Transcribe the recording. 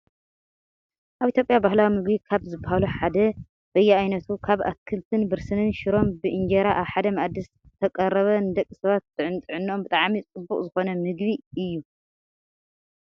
ኣብ ኢትዮጵያ ባህላዊ ምግቢ ካብ ዝባሃሉ ሓደ በያነቱ ካብ ኣትክልቲን ብርስንን ሽሮን ብእንጀራ ኣብ ሓደ ማኣዲ ዝተቀረበ ንደቂ ሰባት ንጥዕነኦም ብጣዕሚ ፅቡቅ ዝኮነ ምግቢ እዩ።